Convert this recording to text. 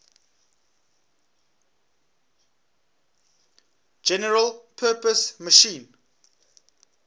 general purpose machine